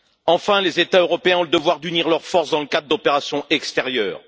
Enfin, les États européens ont le devoir d'unir leurs forces dans le cadre d'opérations extérieures.